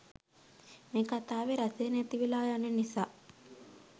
මේ කතාවේ රසේ නැතිවෙලා යන නිසා.